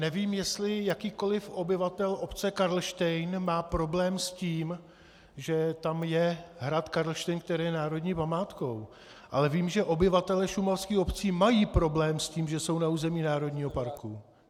Nevím, jestli jakýkoli obyvatel obce Karlštejn má problém s tím, že tam je hrad Karlštejn, který je národní památkou, ale vím, že obyvatelé šumavských obcí mají problém s tím, že jsou na území národního parku.